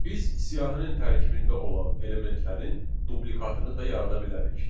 Biz siyahının tərkibində olan elementlərin dublikatını da yarada bilərik.